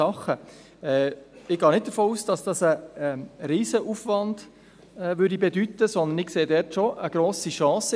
Ich gehe nicht davon aus, dass dies einen Riesenaufwand bedeutete, sondern sehe darin doch eine grosse Chance.